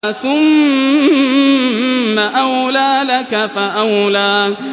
ثُمَّ أَوْلَىٰ لَكَ فَأَوْلَىٰ